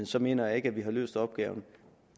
så mener jeg ikke at vi har løst opgaven